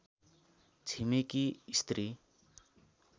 छिमेकी स्त्री